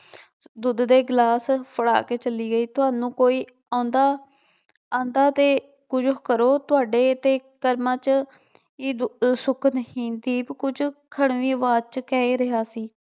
ਦੁੱਧ ਦੇ ਗਲਾਸ ਫੜਾ ਕੇ ਚੱਲੀ ਆਈ, ਤੁਹਾਨੂੰ ਕੋਈ ਆਉਂਦਾ ਆਉਂਦਾ ਤੇ ਕੁੱਝ ਕਰੋ ਤੁਹਾਡੇ ਤੇ ਕਰਮਾਂ ਚ ਕੀ ਦੁ ਸੁੱਖ ਨਹੀਂ ਦੀਪ ਕੁੱਝ ਖੜਵੀਂ ਆਵਾਜ਼ ਚ ਕਹਿ ਰਿਹਾ ਸੀ।